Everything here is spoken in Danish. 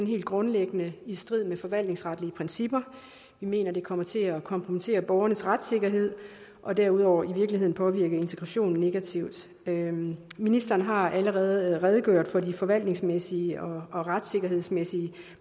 helt grundlæggende i strid med forvaltningsretlige principper vi mener det kommer til at kompromittere borgernes retssikkerhed og derudover i virkeligheden påvirke integrationen negativt ministeren har allerede redegjort for de forvaltningsmæssige og retssikkerhedsmæssige